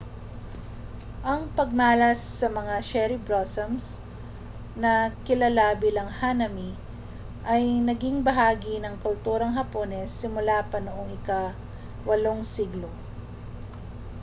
ang pagmalas sa mga cherry blossom na kilala bilang hanami ay naging bahagi na ng kulturang hapones simula pa noong ika-8 siglo